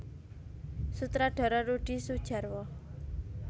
Sutradara Rudi Soedjarwo